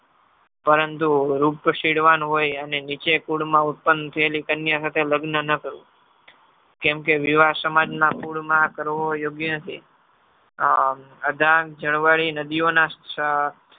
પરંતુ રૂપસીંદવાન હોય અને નીચા કુળમાં ઉત્પન્ન થયેલી કન્યા સાથે લગ્ન ન કરવું કેમકે વિવાહ સમાજના કુળમાં કરવો યોગ્ય નથી.